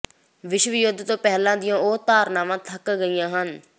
ਵਿਸ਼ਵ ਯੁੱਧ ਤੋਂ ਪਹਿਲਾਂ ਦੀਆਂ ਉਹ ਧਾਰਣਾਵਾਂ ਥੱਕ ਗਈਆਂ ਹਨ